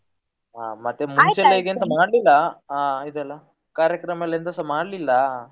ಹ ಮತ್ತೆ ಮುಂಚೆ ಎಲ್ಲ ಮಾಡ್ಲಿಲ್ಲ ಹಾ ಇದೆಲ್ಲಾ ಕಾರ್ಯಕ್ರಮ ಎಲ್ಲ ಎಂತಸಾ ಮಾಡ್ಲಿಲ್ಲ.